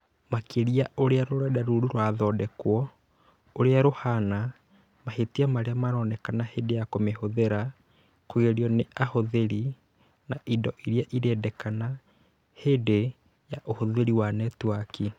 makĩria ũrĩa rũrenda rou rũrathondekwo, ũrĩa rũhana, mahĩtia marĩa monekaga hĩndĩ ya kũmĩhũthĩra, kũgerio nĩ ahũthĩri, na indo iria irendekana hĩndĩ ya ũhũthĩri wa netiwaki.